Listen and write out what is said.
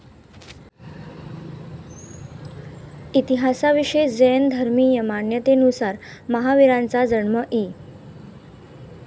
इतिहासाविषयक जैन धर्मीय मान्यतेनुसार महावीरांचा जन्म इ.